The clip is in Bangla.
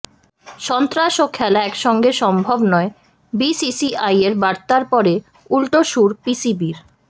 সন্ত্রাস ও খেলা একসঙ্গে সম্ভব নয় বিসিসিআইয়ের বার্তার পরে উল্টো সুর পিসিবির